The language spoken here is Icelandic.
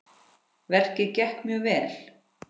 Verkið gekk mjög vel.